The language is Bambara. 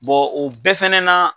o bɛɛ fɛnɛ na